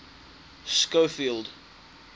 schofield